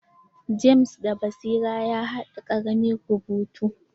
James da basira ya haɗa ƙaramin rubutu.